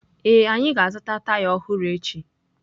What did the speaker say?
Ee, anyị ga-azụta taya ọhụrụ echi